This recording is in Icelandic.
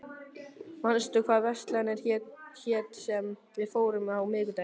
Gustav, manstu hvað verslunin hét sem við fórum í á miðvikudaginn?